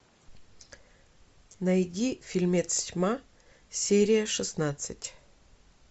найди фильмец тьма серия шестнадцать